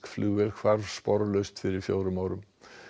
flugvél hvarf sporlaust fyrir fjórum árum